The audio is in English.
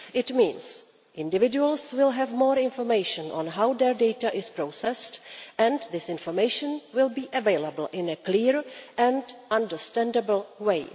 It means that individuals will have more information on how their data is processed, and this information will be available in a clear and understandable way.